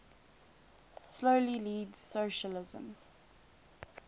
slowly leads socialism